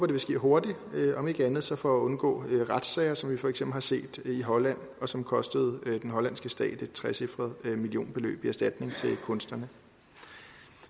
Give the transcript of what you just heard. det vil ske hurtigt om ikke andet så for at undgå retssager som vi for eksempel har set i holland og som kostede den hollandske stat et trecifret millionbeløb i erstatning til kunstnerne